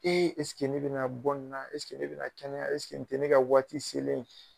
E ne bɛna bɔ nin na ne bɛna kɛnɛya nin tɛ ne ka waati selen ye